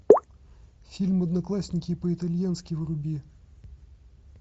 фильм одноклассники по итальянски вруби